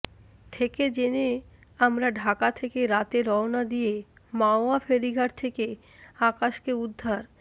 থেকে জেনে আমরা ঢাকা থেকে রাতে রওনা দিয়ে মাওয়া ফেরিঘাট থেকে আকাশকে উদ্ধার